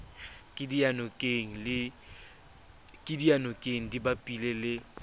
ke diyanokeng di bapile le